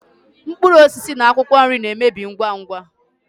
mkpụrụ osisi na akwụkwọ nri na-emebi ngwa ngwa.